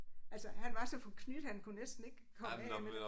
Altså han var så forknyt han kunne næsten ikke komme af med det